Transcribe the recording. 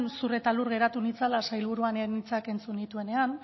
zur eta lur geratu nintzela sailburuaren hitzak entzun nituenean